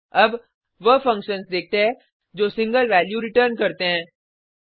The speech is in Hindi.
अब वह फंक्शन्स देखते है जो सिंगल वैल्यू रिटर्न करते हैं